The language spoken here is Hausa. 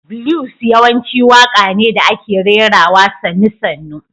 Blues yawanci waƙa ne da ake rerawa sannu- sannu.